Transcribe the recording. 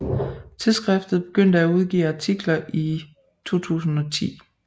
Tidsskriftet begyndte at udgive artikler i 2010